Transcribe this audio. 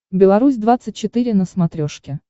беларусь двадцать четыре на смотрешке